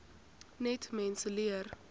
net mense leer